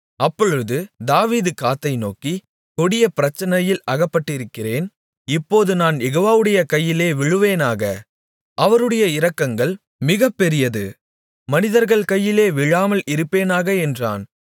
அப்பொழுது தாவீது காத்தை நோக்கி கொடிய பிரச்சனையில் அகப்பட்டிருக்கிறேன் இப்போது நான் யெகோவாவுடைய கையிலே விழுவேனாக அவருடைய இரக்கங்கள் மிகப்பெரியது மனிதர்கள் கையிலே விழாமல் இருப்பேனாக என்றான்